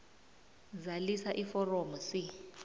zalisa iforomo c